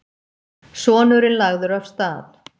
Sonurinn lagður af stað.